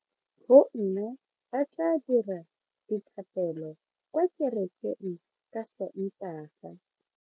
Bomme ba tla dira dithapelo kwa kerekeng ka Sontaga.